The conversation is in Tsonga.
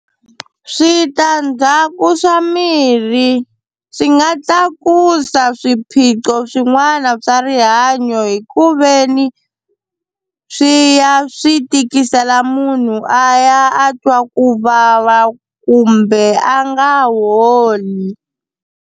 Switandzhaku swa mirhi swi nga tlakusa swiphiqo swin'wana swa rihanyo hi ku veni swi ya swi tikisela munhu a ya a twa ku vava kumbe a nga holi.